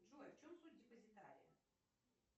джой в чем суть депозитария